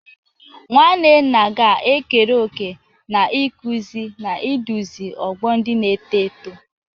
Nwanne nna ga-ekere òkè n'ịkụzi na iduzi ọgbọ ndị na-eto eto.